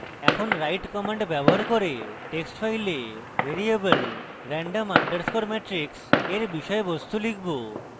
এখন আমরা write command ব্যবহার করে text file variable random underscore matrix এর বিষয়বস্তু লিখব